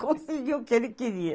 Conseguiu o que ele queria.